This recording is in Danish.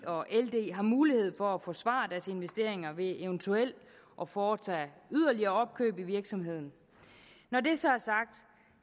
og ld har mulighed for at forsvare deres investeringer ved eventuelt at foretage yderligere opkøb i virksomheden når det så